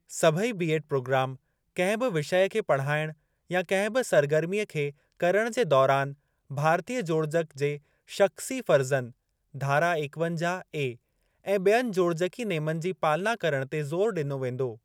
सभई B Ed programme कहिं बि विषय खे पढ़ाइण या कहिं बि सरगर्मीअ खे करण जे दौरान भारतीय जोड़जक जे शख़्सी फ़र्ज़न (धारा एकवंजाह ए) ऐं बयनि जोड़जकी नेमनि जी पालना करण ते जोरु ॾिनो वेंदो।